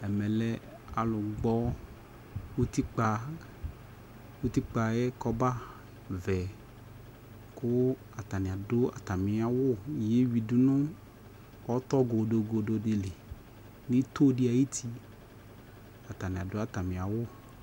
Ɛmɛ lɛ alʊgbɔ utikpa yɛ kɔba kɔba vɛ kʊ atani adu atami awu yewui dunu ɔtɔ godogodɩ lɩ nʊ ɩtodɩ ayʊ ʊtɩ atani adʊ atami awu